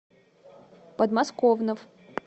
подмосковнов